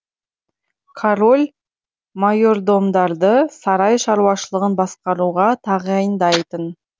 король майордомдарды сарай шаруашылығын басқаруға тағайындайтын